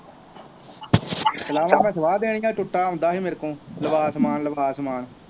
ਸਲਾਵਾਂ ਮੈਂ ਸਵਾਹ ਦੇਣੀਆਂ, ਟੁੱਟਾ ਆਉਂਦਾ ਸੀ ਮੇਰੇ ਕੋਲ, ਲਵਾ ਸਮਾਨ ਲਵਾ ਸਮਾਨ